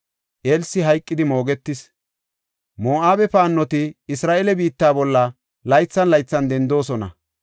Elsi hayqidi moogetis. Moo7abe paannoti Isra7eele biitta bolla laythan laythan dendoosona.